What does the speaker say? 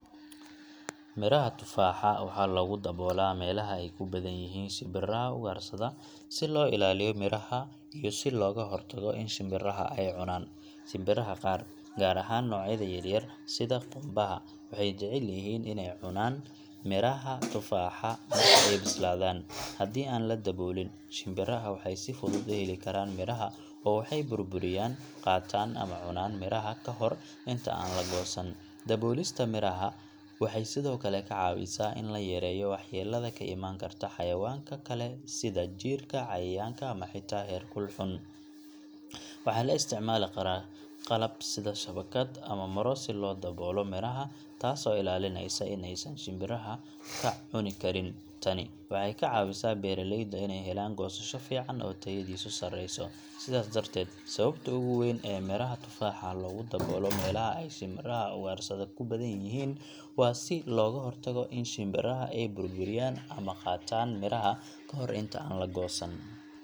Miraha tufaaxa waxaa loogu daboolaa meelaha ay ku badan yihiin shimbiraha ugaarsada si loo ilaaliyo miraha iyo si looga hortago in shimbiraha ay cunaan. Shimbiraha qaar, gaar ahaan noocyada yaryar sida qumbaha, waxay jecel yihiin inay cuna miraha tufaaxa marka ay bislaadaan. Haddii aan la daboolin, shimbiraha waxay si fudud u heli karaan miraha oo waxay burburiyaan, qaataan ama cunaan miraha ka hor inta aan la goosan. Daboolista miraha waxay sidoo kale ka caawisaa in la yareeyo waxyeellada ka imaan karta xayawaanka kale sida jiirka, cayayaanka, ama xitaa heerkulka xun. Waxaa la isticmaali karaa qalab sida shabakad ama maro si loo daboolo miraha, taasoo ilaalinaysa in aysan shimbiraha ka cuni karin. Tani waxay ka caawisaa beeralayda inay helaan goosasho fiican oo tayadiisu sareyso. Sidaas darteed, sababta ugu weyn ee miraha tufaaxa loogu daboolo meelaha ay shimbiraha ugaarsada ku badan yihiin waa si looga hortago in shimbiraha ay burburiyaan ama qaataan miraha kahor inta aan la goosan.